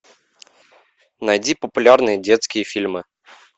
найди популярные детские фильмы